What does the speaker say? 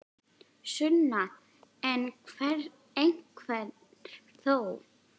Sunna: En einhver þó?